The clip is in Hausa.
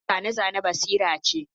Harkar zane-zane basira ce